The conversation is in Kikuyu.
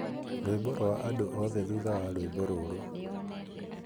rwĩmbo rwa andũ othe thutha wa rwĩmbo rũrũ